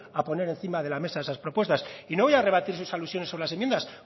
a poner encima de la mesa esas propuestas y no voy a rebatir sus alusiones sobre las enmiendas